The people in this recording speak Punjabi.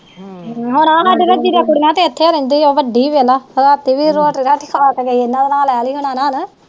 ਵੱਡੀ ਵੇਖਲਾ ਰਾਤੀ ਵੀ ਰੋਟੀ ਰਾਟੀ ਖਾ ਕੇ ਗਈ